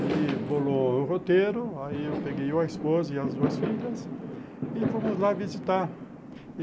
Ele bolou o roteiro, aí eu peguei eu, a esposa e as duas filhas e fomos lá visitar.